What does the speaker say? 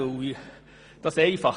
Das ist einfach: